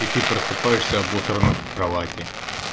и ты просыпаешься обосранный в кровати